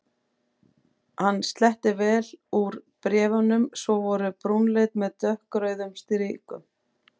Hann sletti vel úr bréf- unum sem voru brúnleit með dökkrauðum strikum.